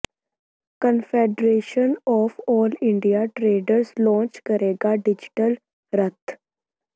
confederation of all India traders launch ਕਰੇਗਾ digital ਰੱਥ